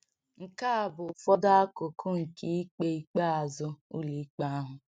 Nke a bụ ụfọdụ akụkụ nke ikpe ikpeazụ Ụlọikpe ahụ: